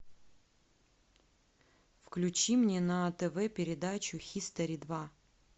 включи мне на тв передачу хистори два